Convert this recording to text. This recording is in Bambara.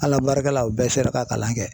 Ala barika la u bɛɛ sera ka kalan kɛ .